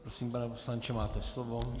Prosím, pane poslanče, máte slovo.